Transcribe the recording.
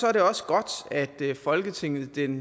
er det også godt at folketinget den